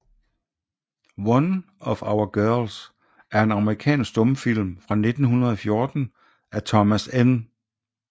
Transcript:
One of Our Girls er en amerikansk stumfilm fra 1914 af Thomas N